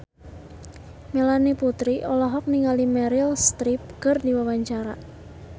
Melanie Putri olohok ningali Meryl Streep keur diwawancara